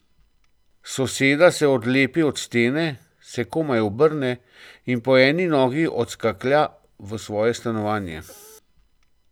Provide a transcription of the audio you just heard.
Soseda se odlepi od stene, se komaj obrne in po eni nogi odskaklja v svoje stanovanje.